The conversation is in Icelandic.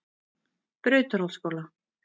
Brautarholtsskóla